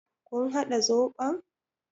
Kun haɗa zoɓon?